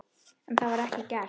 En það var ekki gert.